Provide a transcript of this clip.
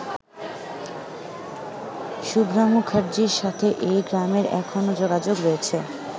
শুভ্রা মুখার্জির সাথে এই গ্রামের এখনও যোগাযোগ রয়েছে।